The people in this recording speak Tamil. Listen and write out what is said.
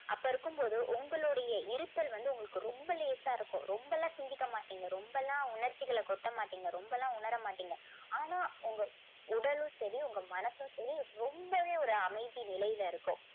அப்போ இருக்கும்போது உங்களுடைய இருத்தல் வந்து உங்களுக்கு ரொம்ப லேசா இருக்கும். ரொம்ப எல்லாம் சிந்திக்க மாட்டீங்க. ரொம்ப எல்லாம் உணர்ச்சிகளை கொட்ட மாட்டீங்க. ரொம்ப எல்லாம் உணர மாட்டீங்க. ஆனா உங்க உடலும் சரி உங்க மனசும் சரி ரொம்பவே ஒரு அமைதி நிலையில இருக்கும்.